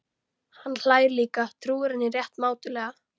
Hann hlær líka, trúir henni rétt mátulega.